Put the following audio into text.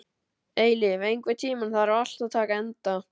Eilíf, einhvern tímann þarf allt að taka enda.